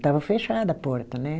Estava fechada a porta, né?